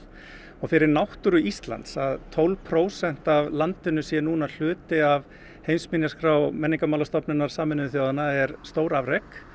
og fyrir náttúru Íslands að tólf prósent af landinu sé núna hluti af heimsminjaskrá menningarmálastofnunnar Sameinuðu þjóðanna er stórafrek